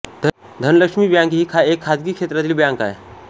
Dhanlaxmi bank ही एक खाजगी क्षेत्रातील बँक आहे